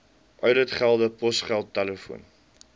ouditgelde posgeld telefoon